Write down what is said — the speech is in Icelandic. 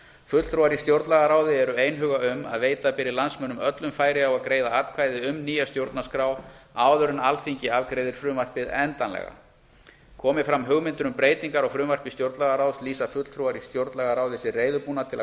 fulltrúar í stjórnlagaráði eru einhuga um að veita beri landsmönnum öllum færi á að greiða atkvæði um nýja stjórnarskrá áður en alþingi afgreiðir frumvarpið endanlega komi fram hugmyndir um breytingar á frumvarpi stjórnlagaráðs lýsa fulltrúar í stjórnlagaráði sig reiðubúna til